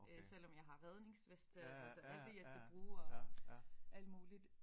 Selvom jeg har redningsveste og altså alt det jeg skal bruge og alt muligt